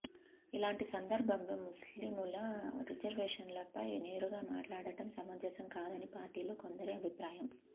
ఇలాంటి సందర్భంలో ముస్లీముల రిజర్వేషన్లపై నేరుగా మాట్లాడడం సమంజసం కాదని పార్టీలో కొందరి అభిప్రాయం